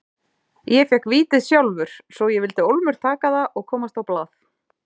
Ég fékk vítið sjálfur svo ég vildi ólmur taka það og komast á blað.